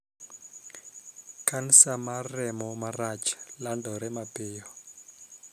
Kansa mar remo marach landore mapiyo.